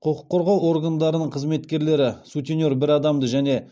құқық қорғау органдарының қызметкерлері сутенер бір адамды және